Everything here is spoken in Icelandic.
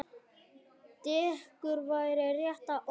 Dekur væri rétta orðið.